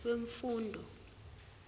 wemfundo